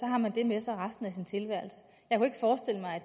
har man det med sig resten af tilværelsen